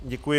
Děkuji.